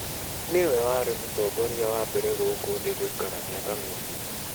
Nĩwe warĩ mũtongoria wa mbere gũkũ thĩ gũikara mĩaka mĩingĩ.